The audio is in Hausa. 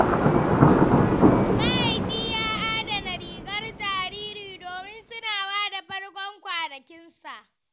Mahaifi ya adana rigar jariri domin tunawa da farkon kwanakin sa.